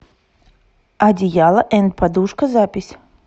одеяло энд подушка запись